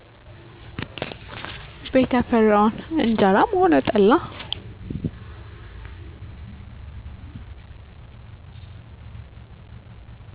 ቤት ያፈራውን እጀራም ሆነ ጠላ